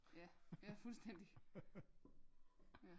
Ja ja fuldstændig ja